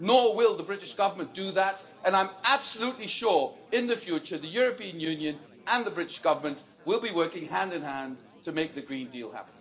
Nor will the British Government do that and I'm absolutely sure that in the future the European Union and the British Government will be working hand in hand to make the Green Deal happen.